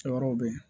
Cɛ wɛrɛw bɛ yen